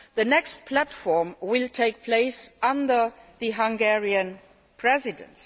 The next platform will take place under the Hungarian Presidency.